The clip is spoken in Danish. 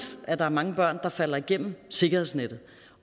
at der er mange børn der falder igennem sikkerhedsnettet